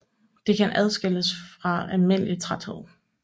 Det kan adskilles fra almindelig træthed